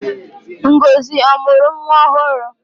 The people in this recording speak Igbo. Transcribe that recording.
Ngozi ọ mụrụ nwa ọhụrụ?